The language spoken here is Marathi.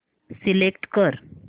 सिलेक्ट कर